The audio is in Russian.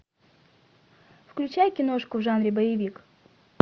включай киношку в жанре боевик